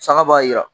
Saga b'a jira